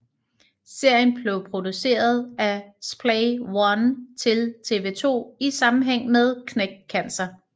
Serien blev produceret af Splay One til TV 2 i sammenhæng med Knæk Cancer